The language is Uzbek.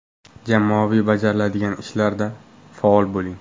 Jamoaviy bajariladigan ishlarda faol bo‘ling.